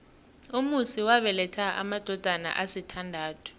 umusi wabeletha amadodana asithandathu